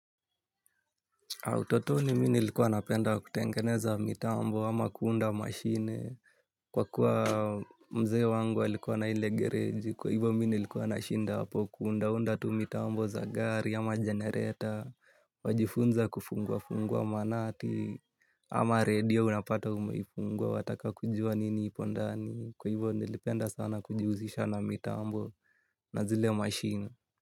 Utotoni mi nilikuwa napenda kutengeneza mitambo ama kuunda mashine kwa kuwa mzee wangu alikuwa na ile gereji kwa hivo mi nilikuwa na shinda hapo kuunda unda tu mitambo za gari ama generator wajifunza kufungua fungua manati ama radio unapata umeifungua wataka kujua nini ipondani kwa hivo nilipenda sana kujihusisha na mitambo na zile mashine.